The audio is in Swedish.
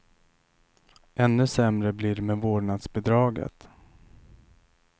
Ännu sämre blir det med vårdnadsbidraget.